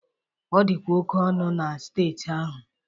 Ọ dịkwa oke ọnụ na steeti ahụ